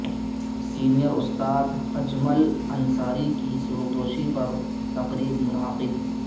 senior استاد اجمل انصاری کی سبکدوشی پر تقریب منعقد